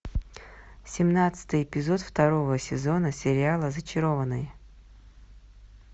семнадцатый эпизод второго сезона сериала зачарованные